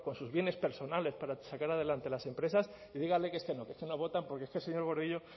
sus bienes personales para sacar adelante las empresas y díganles que es que no votan porque es que el señor gordillo